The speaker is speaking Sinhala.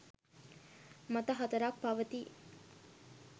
මත 4 ක් පවතී.